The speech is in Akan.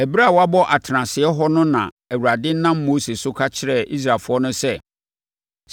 Ɛberɛ a wɔabɔ atenaseɛ hɔ no na Awurade nam Mose so kasa kyerɛɛ Israelfoɔ no sɛ,